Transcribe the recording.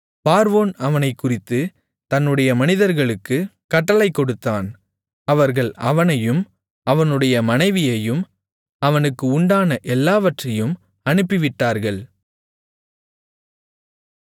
பார்வோன் அவனைக் குறித்துத் தன்னுடைய மனிதர்களுக்குக் கட்டளை கொடுத்தான் அவர்கள் அவனையும் அவனுடைய மனைவியையும் அவனுக்கு உண்டான எல்லாவற்றையும் அனுப்பிவிட்டார்கள்